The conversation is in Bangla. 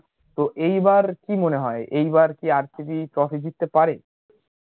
তো এইবার কি মনে হয় এই বার কি RCBtrophy জিততে পারে